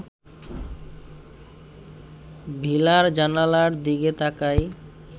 ভিলার জানালার দিকে তাকাই